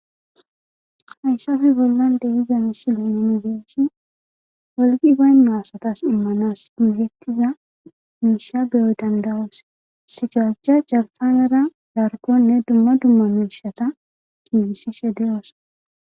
hayssafi bollan dehiza misile nuin be7shi wolqi baynna asatas immanas giigettiza miisha beyo danda7os sigaajja jartanera largonne dumma dumma miishata giigisishe de7oosona